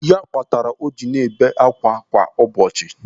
Ya kpatara o ji na-abịa ebe kwa ụbọchị.